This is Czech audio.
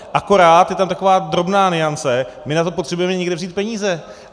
Akorát je tam taková drobná nuance - my na to potřebujeme někde vzít peníze.